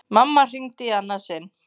Mamma hringir í annað sinn.